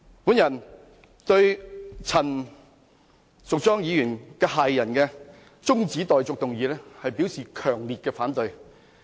我對陳淑莊議員駭人的中止待續議案，表示強烈反對。